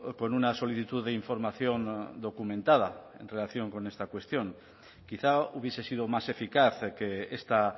con una solicitud de información documentada en relación con esta cuestión quizá hubiese sido más eficaz que esta